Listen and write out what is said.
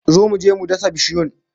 Zo mu je mu dasa bishiyun